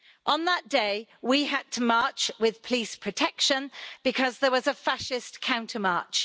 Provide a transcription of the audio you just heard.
On that day we had to march with police protection because there was a fascist counter march.